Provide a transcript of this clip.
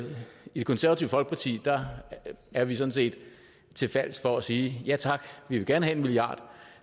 i det konservative folkeparti er vi sådan set til fals for at sige ja tak vi vil gerne have en milliard